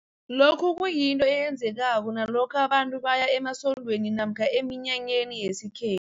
Lokhu kuyinto eyenzekako nalokha abantu baya ema sondweni namkha eminya nyeni yesikhe